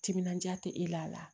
Timinandiya tɛ e la